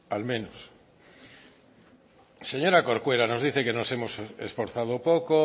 al menos señora corcuera nos dice que nos hemos esforzado poco